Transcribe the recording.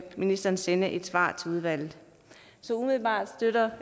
ministeren sende et svar til udvalget så umiddelbart støtter